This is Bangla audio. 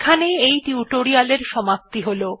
এখানেই এই টিউটোরিয়াল্ এর সমাপ্তি হল